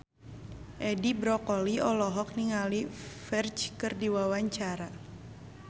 Edi Brokoli olohok ningali Ferdge keur diwawancara